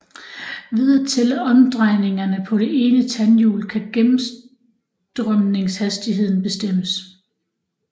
Ved at tælle omdrejningerne på det ene tandhjul kan gennemstrømningshastigheden bestemmes